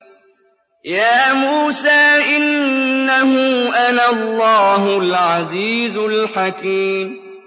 يَا مُوسَىٰ إِنَّهُ أَنَا اللَّهُ الْعَزِيزُ الْحَكِيمُ